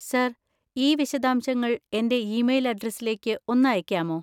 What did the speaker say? Sir, ഈ വിശദാംശങ്ങൾ എൻ്റെ ഇമെയിൽ അഡ്രസ്സിലേക്ക് ഒന്ന് അയക്കാമോ?